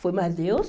Foi mais Deus.